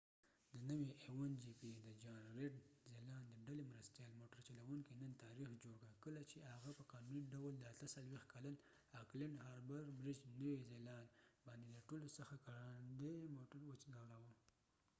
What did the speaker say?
چان ریډ john reid د a1gp د نیوې زیلاند د ډلې مرستیال موټر چلوونکې نن تاریخ جوړ کړ کله چې هغه په قانونی ډول د اته څلويښت کلن 48آکلنډ هاربر بریج نوي زیلاند auckland harbour bridge newzealand باندي د ټو لو څخه کړندی موټر وځغلوو